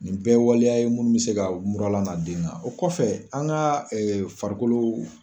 Nin bɛɛ ye waleya ye minnu bɛ se mura lana den kan o kɔfɛ an ka farikolo.